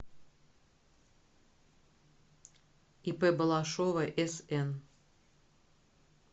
ип балашова сн